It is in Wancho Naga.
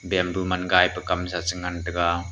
bamboo man gai pe kawmsa chu ngan tega.